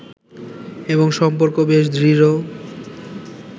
এবং সম্পর্ক বেশ দৃঢ়